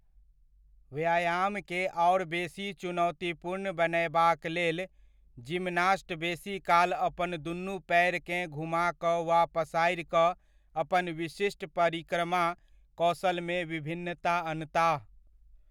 व्यायामकेँ आओर बेसी चुनौतीपूर्ण बनयबाक लेल, जिमनास्ट बेसी काल अपन दूनु पैर केँ घुमा कऽ वा पसारि कऽ अपन विशिष्ट परिक्रमा कौशलमे विभिन्नता अनताह।